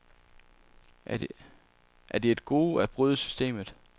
Er det et gode at bryde systemet?